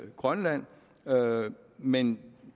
grønland men